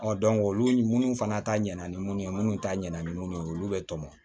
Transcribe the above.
Ɔ olu minnu fana ta ɲɛna ni mun ye minnu ta ɲɛna ni minnu ye olu bɛ tɔmɔ